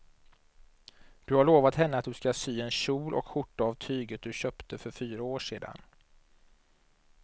Du har lovat henne att du ska sy en kjol och skjorta av tyget du köpte för fyra år sedan.